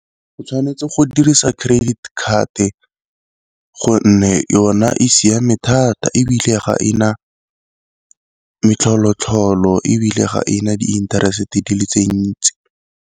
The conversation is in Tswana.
O tshwanetse go dirisa credit card-te gonne yona e siame thata, ebile ga ena metlholotlholo ebile ga ena di-interest di le tse ntsi.